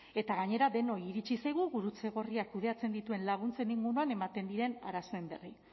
eta gainera denoi iritsi zaigu gurutze gorriak kudeatzen dituen laguntzen inguruan ematen diren arazoen berri